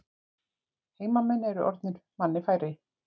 Heimamenn eru orðnir manni færri